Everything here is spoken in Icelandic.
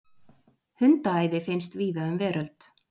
Hundaæði finnst víða um veröld.